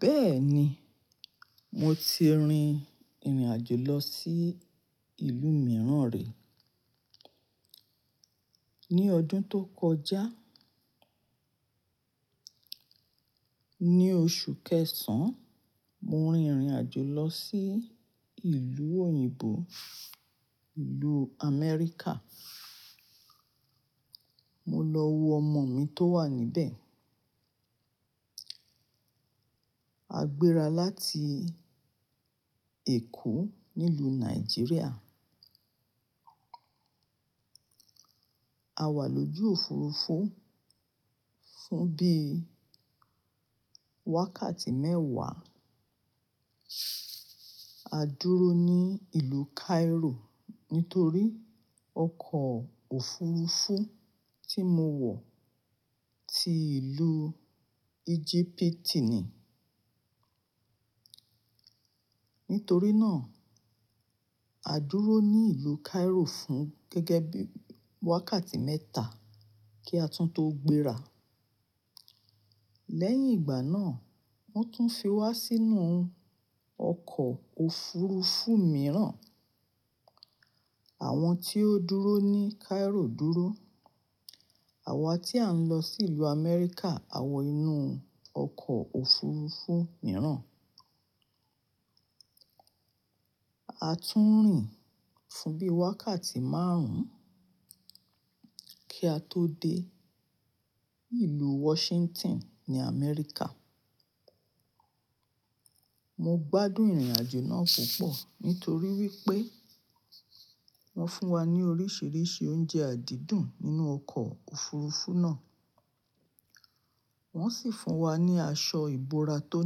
Bẹ́ẹ̀ni, mo ti rin ìrìnàjò lọ sí ìlú mìíràn rí. Ni ọdún tó kọjá, ní oṣù kẹsàn-án, mo rin ìrìnàjò lọ sí ìlú òyìnbó, ìlú Amẹ́ríkà. Mo lọ wo ọmọ mi tó wà níbẹ̀. A gbéra láti Èkó nílùú Nàìjíríà. A wà lójú òfurufú fún bí i wákàtí mẹ́wàá. A dúró ní ìlú Cairo nítorí ọkọ̀ òfurufú tí mo wọ̀ ti ìlú Egypt ni. Nítorí náà, a dúró ní ìlú Cairo fún gẹ́gẹ́ bí i wákàtí mẹ́ta kí a tún tó gbéra. Lẹ́yìn ìgbà náà, wọ́n tún fi wa sínú ọkọ̀ òfurufú mìíràn. Àwọn tí ó dúró ní Cairo dúró. Àwa tí à ń lọ sí ìlú Amẹ́ríkà, a wọ inú ọkọ̀ òfurufú mìíràn. A tún rìn fún bí i wákàtí márùn-ún kí a tó dé ìlú Washington ní Amẹ́ríkà. Mo gbádùn ìrìnàjò náà púpọ̀ nítorí wípé wọ́n fún wa ní oríṣìíríṣìí oúnjẹ àdídùn nínú ọkọ̀ òfurufú náà, wọ́n sì fún wa ní aṣọ ìbora tó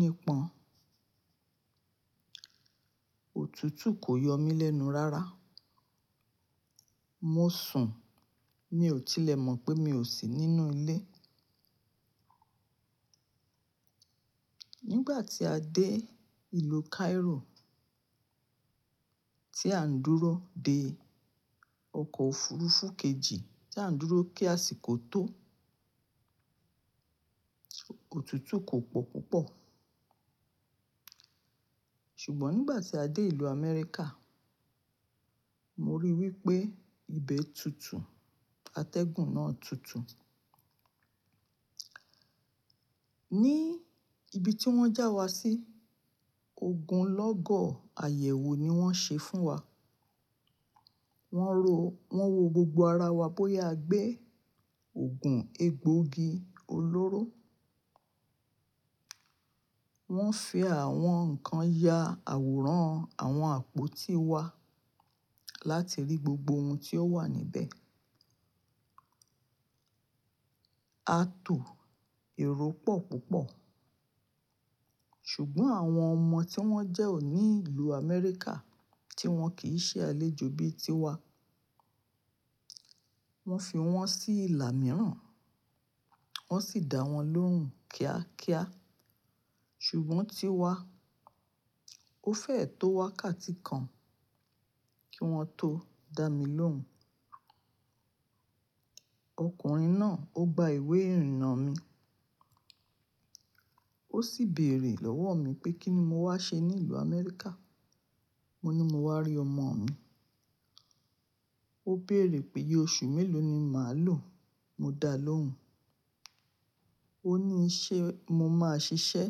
nípọn. Òtútù kò yọ mí lẹ́nu rárá. Mo sùn, mi ò tilẹ̀ mọ̀ pé mi ò sí nínú ilé. Nígbà tí a dé ìlú Cairo tí à ń dúró de ọkọ̀ òfurufú kejì tí à ń dúró kí asìkó tó, òtútù kò pọ̀ púpọ̀. Ṣùgbọ́n nígbà tí a dé ìlú Amẹ́ríkà, mo rí i wípé ibẹ̀ tutù, atẹ́gùn náà tutù. Ní ibi tí wọ́n já wa sí, ogunlọ́gọ̀ àyẹ̀wò ni wọ́n ṣe fún wa. Wọ́n ro, wọ́n wo gbogbo ara wa bóyá a gbé ògùn egbòogi olóró. Wọ́n fi àwọn nǹkan ya àwòrán àwọn àpótí wa láti rí gbogbo ohun tí ó wà níbẹ̀. A tò èrò pọ̀ púpọ̀. Ṣùgbọ́n àwọn ọmọ tí wọ́n jẹ́ òní ìlú Amẹ́ríkà tí wọn kì í ṣe àlejò bí i tí wa, wọ́n fi wọ́n sí ìlà mìíràn, wọ́n sì dá wọn lóhùn kíákíá. Ṣùgbọ́n tí wa, ó fẹ́ẹ̀ tó wákàtí kan kí wọn tó dá mi lóhùn. Ọkùnrin náà, ó gba ìwé ìrìnnà mi. Ó sì béèrè lọ́wọ́ mi pé kí ni mo wá ṣe ní ìlú Amẹ́ríkà. Mo ní mo wá rí ọmọ mi. Ó béèrè pé iye oṣù mélòó ni màá lò. Mo dá a lóhùn. Ó ní ṣé mo máa ṣiṣẹ́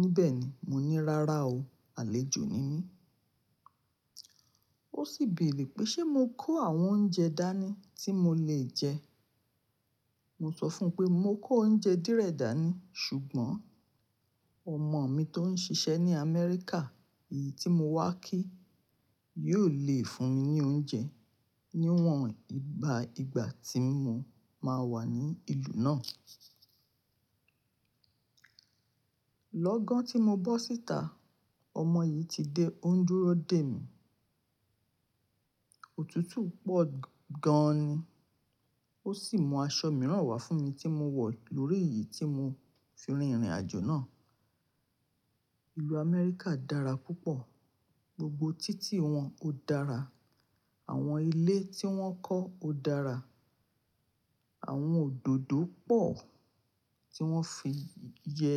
níbẹ̀ ni. Mo ní rárá o, àlejò ni mí. Ó sì béèrè pé ṣé mo kó àwọn oúnjẹ dání tí mo lè jẹ. Mo sọ fún un pé mo kó oúnjẹ díẹ̀ dání, ṣùgbọ́n ọmọ mi tó ń ṣiṣẹ́ ní Amẹríkà, èyí tí mo wá kí, yóò le fún mi ní oúnjẹ níwọ̀n ìgbà ìgbà tí mo máa wà ní ìlú náà. Lọ́gán tí mo bọ́ síta, ọmọ yìí ti dé, ó ń dúró dè mí. Òtútù pọ̀ gan ni. Ó sì mú aṣọ mìíràn wá fún mi tí mo wọ̀ lórí èyí tí mo fi rin ìrìnàjò náà. Ìlú Amẹ́ríkà dára púpọ̀. Gbogbo títì wọn ó dára. Àwọn ilé tí wọ́n kọ́ ó dára. Àwọn òdòdó pọ̀ tí wọ́n fi yẹ.